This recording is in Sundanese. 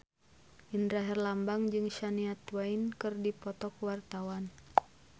Indra Herlambang jeung Shania Twain keur dipoto ku wartawan